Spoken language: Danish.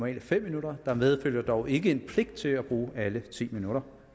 er fem minutter der medfølger dog ikke en pligt til at bruge alle ti minutter